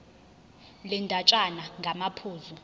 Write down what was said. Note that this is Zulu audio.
le ndatshana ngamaphuzu